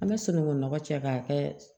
An bɛ sunungun nɔgɔ cɛ k'a kɛ